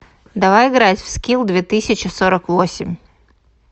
давай играть в скилл две тысячи сорок восемь